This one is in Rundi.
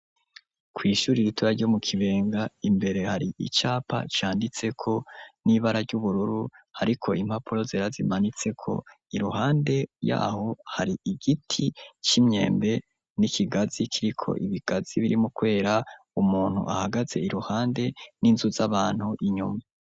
Kw' ishuri ritoya ryo mu Kibenga imbere hari icapa canditse ko n'ibara ry'ubururu hariko impapuro zera zimanitseko ; iruhande yaho hari igiti c'imyembe n'ikigazi kiriko ibigazi birimwo kwera, umuntu ahagaze iruhande, n'inzu z'abantu inyuma.